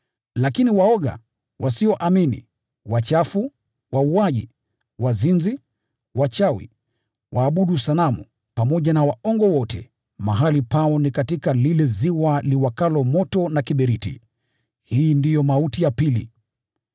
Lakini waoga, wasioamini, wachafu, wauaji, wazinzi, wachawi, waabudu sanamu, pamoja na waongo wote, mahali pao ni katika lile ziwa liwakalo moto na kiberiti. Hii ndiyo mauti ya pili.”